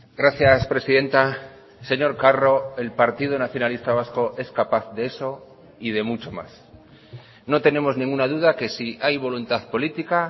gracias presidenta señor carro el partido nacionalista vasco es capaz de eso y de mucho más no tenemos ninguna duda que si hay voluntad política